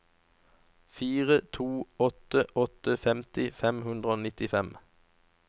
fire to åtte åtte femti fem hundre og nittifem